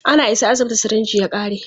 Ana isa asibiti, sirinji ya ƙare.